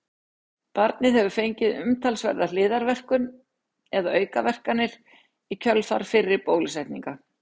barnið hefur fengið umtalsverða hliðarverkun eða aukaverkanir í kjölfar fyrri bólusetninga